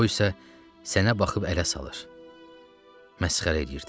O isə sənə baxıb ələ salır, məsxərə edirdi.